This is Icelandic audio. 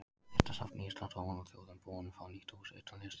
Listasafns Íslands og hún og þjóðin búin að fá nýtt hús utanum listina.